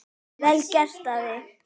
Vel gert, afi.